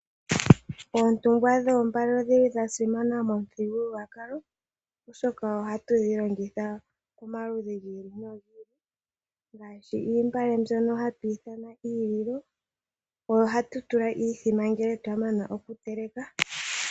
Oontungwa dhoombale odhili dha simana momithigulwakalo, oshoka ohadhi longithwa momikalo dhi ili no dhi ili. Oontungwa ndhono hadhi ithanwa iililo, ohadhi longithwa okutulwa iimbombo.